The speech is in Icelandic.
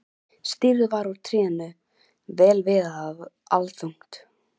Stýrið var úr tré, vel viðað og allþungt.